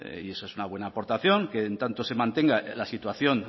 y eso es una buena aportación que en tanto se mantenga la situación